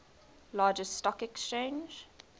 largest stock exchange